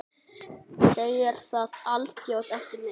Segir það alþjóð ekki neitt?